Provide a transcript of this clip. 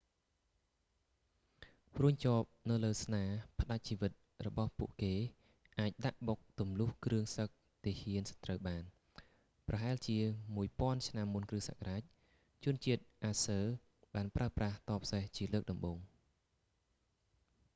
ព្រួញជាប់នៅលើស្នាផ្តាច់ជីវិតរបស់ពួកគេអាចដាក់បុកទម្លុះគ្រឿងសឹកទាហានសត្រូវបាន ប្រហែលជា1000 ឆ្នាំមុនគ្រិស្តសករាជ ជនជាតិអាសស៊ើរបានប្រើប្រាស់ទ័ពសេះជាលើកដំបូង